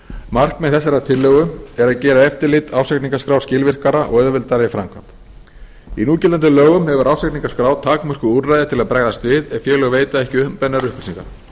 markmið þessarar tillögu er að gera eftirlit ársreikningaskrár skilvirkara og auðveldara í framkvæmd í núgildandi lögum hefur ársreikningaskrá takmörkuð úrræði til að bregaðst við ef félög veita ekki umbeðnar upplýsingar